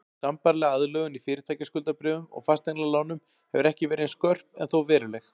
Sambærileg aðlögun í fyrirtækjaskuldabréfum og fasteignalánum hefur ekki verið eins skörp en þó veruleg.